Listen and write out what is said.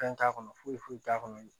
Fɛn t'a kɔnɔ foyi foyi t'a kɔnɔ